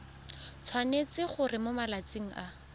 tshwanetse gore mo malatsing a